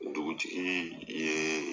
Dugutigi yee